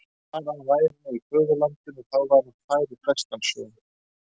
Bara að hann væri nú í föðurlandinu, þá væri hann fær í flestan sjó.